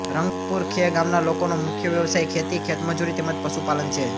રંગપુર ખે ગામના લોકોનો મુખ્ય વ્યવસાય ખેતી ખેતમજૂરી તેમ જ પશુપાલન છે